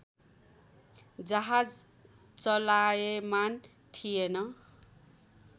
जहाज चलायमान थिएन